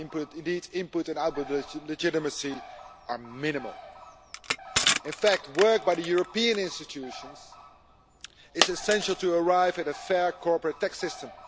Indeed, input and output legitimacy are minimal. In fact, work by the European institutions is essential to arrive at a fair corporate tax system.